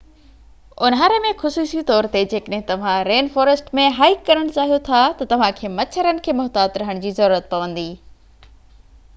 اونهاري ۾ خصوصي طور تي جيڪڏهن توهان رين فوريسٽ ۾ هائيڪ ڪرڻ چاهيو ٿا ته توهان کي مچھرن کي محتاط رهڻ جي ضرورت پوندي